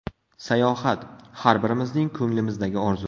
Sayohat – har birimizning ko‘nglimizdagi orzu.